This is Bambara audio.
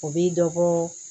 O bi dɔ bɔ